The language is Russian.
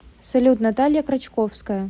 салют наталья крачковская